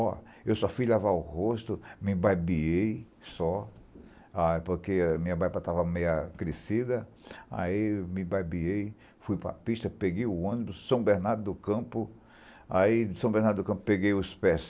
ó eu só fui lavar o rosto, me barbiei, só, ah porque a minha barba estava meio agressiva, aí me babei, fui para a pista, peguei o ônibus, São Bernardo do Campo, aí de São Bernardo do Campo peguei os